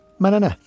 Mənə nə?